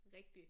Rigtig